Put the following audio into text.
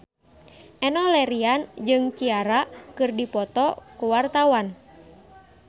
Enno Lerian jeung Ciara keur dipoto ku wartawan